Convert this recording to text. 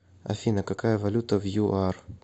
афина какая валюта в юар